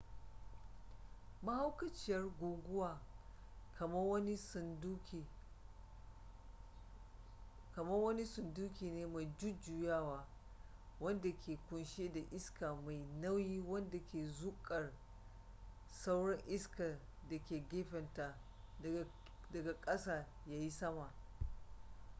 mahaukaciyar guguwa kamar wani sunduki ne me jujjuyawa wanda ke kunshe da iska mai nauyi wadda ke zukar sauran iska da ke gefenta daga kasa ya yi sama